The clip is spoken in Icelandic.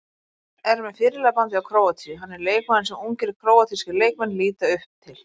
Er með fyrirliðabandið hjá Króatíu, hann er leikmaðurinn sem ungir króatískir leikmenn líta upp til.